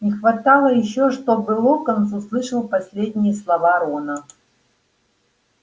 не хватало ещё чтобы локонс услышал последние слова рона